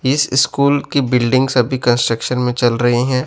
इस स्कूल की बिल्डिंग सभी कंस्ट्रक्शन में चल रही हैं।